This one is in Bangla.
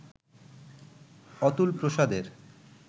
অতুল প্রসাদের